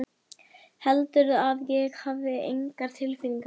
Heldurðu að ég hafi engar tilfinningar?